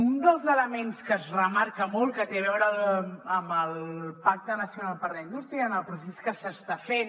un dels elements que es remarca molt que té a veure amb el pacte nacional per a la indústria en el procés que s’està fent